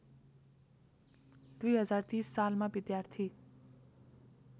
२०३० सालमा विद्यार्थी